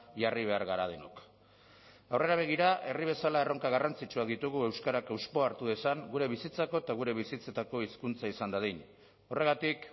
jarri behar gara denok aurrera begira herri bezala erronka garrantzitsuak ditugu euskarak hauspoa hartu dezan gure bizitzako eta gure bizitzetako hizkuntza izan dadin horregatik